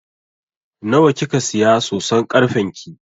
Nawa kika siya soson karfen ki?